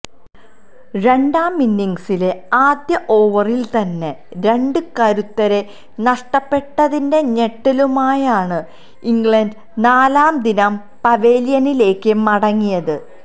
രണ്ടാമിന്നിങ്സിലെ ആദ്യ ഓവറില് തന്നെ രണ്ട് കരുത്തരെ നഷ്ടപ്പെട്ടതിന്റെ ഞെട്ടലുമായാണ് ഇംഗ്ലണ്ട് നാലാം ദിനം പവലിയനിലേയ്ക്ക് മടങ്ങിയത്